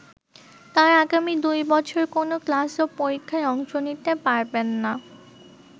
তারা আগামী দুই বছর কোনো ক্লাস ও পরীক্ষায় অংশ নিতে পারবেন না।